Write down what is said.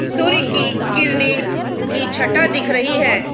सूर्य की किरणे की छठा दिख रही है।